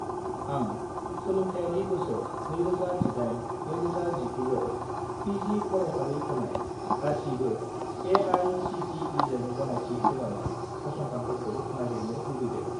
आं सोलोंथायारि बोसोर 2018 - 2019 आव पि.जि. फरायफारि होनाय गासिबो ए.आइ.सि.टि.इ.जों गनायथि होजानाय फसंथानफोरखौ नागिरनो लुबैदों।